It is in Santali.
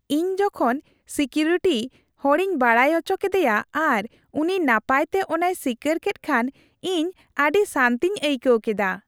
ᱤᱧ ᱡᱚᱠᱷᱚᱱ ᱥᱤᱠᱤᱣᱤᱨᱴᱤ ᱦᱚᱲᱤᱧ ᱵᱟᱰᱟᱭ ᱟᱪᱚ ᱠᱮᱫᱮᱭᱟ ᱟᱨ ᱩᱱᱤ ᱱᱟᱯᱟᱭᱛᱮ ᱚᱱᱟᱭ ᱥᱤᱠᱟᱹᱨ ᱠᱮᱫ ᱠᱷᱟᱱ ᱤᱧ ᱟᱹᱰᱤ ᱥᱟᱹᱱᱛᱤᱧ ᱟᱹᱭᱠᱟᱹᱣ ᱠᱮᱫᱟ ᱾